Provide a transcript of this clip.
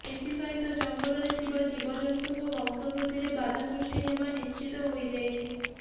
ଏଥି ସହିତ ଜଙ୍ଗଲରେ ଥିବା ଜୀବଜନ୍ତୁଙ୍କ ବଂଶବୃଦ୍ଧିରେ ବାଧା ସୃଷ୍ଟି ହେବା ନିଶ୍ଚିତ ହୋଇଯାଇଛି